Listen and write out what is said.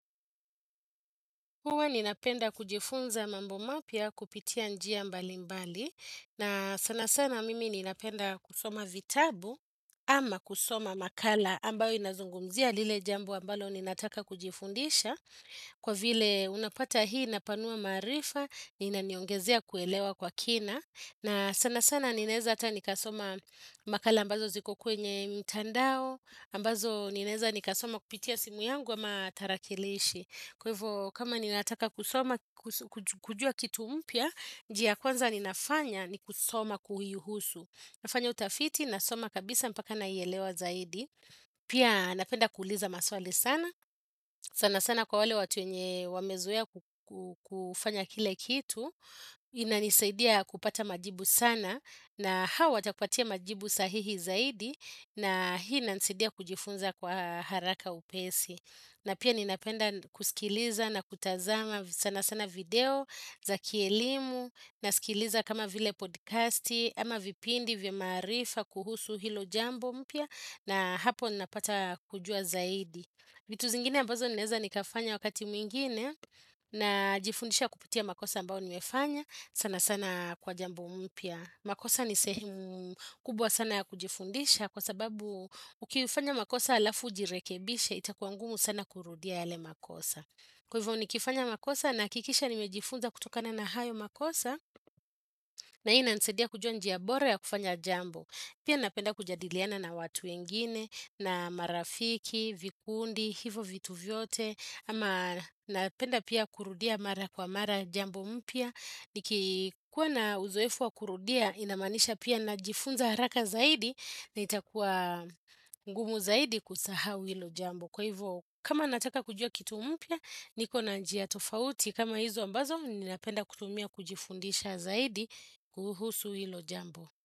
Huwa ninapenda kujifunza mambo mapya kupitia njia mbali mbali. Na sana sana mimi ninapenda kusoma vitabu ama kusoma makala ambayo inazungumzia lile jambo ambalo ninataka kujifundisha. Kwa vile unapata hii inapanua maarifa na inaniongezea kuelewa kwa kina. Na sana sana ninaeza hata nikasoma makala ambazo ziko kwenye mtandao. Ambazo ninaeza nikasoma kupitia simu yangu ama tarakilishi. Kwa hivyo, kama ninataka kujua kitu mpya, njia kwanza ninafanya ni kusoma kuhihusu. Nafanya utafiti, nasoma kabisa mpaka naielewa zaidi. Pia napenda kuuliza maswali sana. Sana sana kwa wale watu wenye wamezoea kufanya kile kitu. Inanisaidia kupata majibu sana. Na hawa, takupatia majibu sahihi zaidi. Na hii, inanisidia kujifunza kwa haraka upesi. Na pia ninapenda kusikiliza na kutazama sana sana video za kielimu na sikiliza kama vile podcasti ama vipindi vya maarifa kuhusu hilo jambo mpya na hapo napata kujua zaidi. Vitu zingine ambazo ninaeza nikafanya wakati mwingine na jifundisha kuputia makosa ambao niwefanya sana sana kwa jambo mpya. Makosa ni sehemu kubwa sana ya kujifundisha kwa sababu ukifanya makosa alafu ujirekebishe itakua ngumu sana kurudia yale makosa. Kwa hivyo ni kifanya makosa nahakikisha nimejifunza kutokana na hayo makosa na hiyo inanisaidia kujua njia bora ya kufanya jambo. Pia napenda kujadiliana na watu wengine na marafiki, vikundi, hivo vitu vyote ama napenda pia kurudia mara kwa mara jambo mpya. Nikikuwa na uzoefu wa kurudia inamaanisha pia najifunza haraka zaidi na itakuwa ngumu zaidi kusahau hilo jambo Kwa hivyo kama nataka kujua kitu mpya niko na njia tofauti kama hizo ambazo ninapenda kutumia kujifundisha zaidi kuhusu hilo jambo.